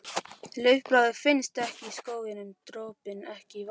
Laufblaðið finnst ekki í skóginum, dropinn ekki í vatninu.